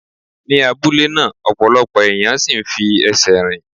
Ni abúlé náà, ọ̀pọ̀lọpọ̀ ẹ̀yàn ń sí ì fi ẹsẹ̀ rìn.